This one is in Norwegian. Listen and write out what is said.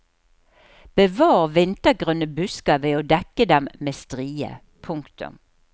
Bevar vintergrønne busker ved å dekke dem med strie. punktum